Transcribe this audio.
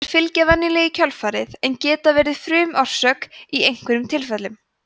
þær fylgja venjulega í kjölfarið en geta verið frumorsök í einhverjum tilfellum